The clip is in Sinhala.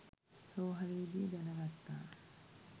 රෝහ‍ලේ දී දැන ගත්තා.